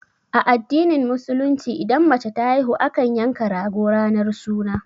A addinin musulunci idan mace ta haihu, akan yanka rago ranar suna.